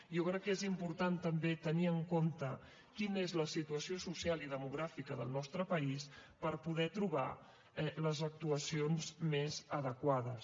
jo crec que és important també tenir en compte quina és la situació social i demogràfica del nostre país per poder trobar les actuacions més adequades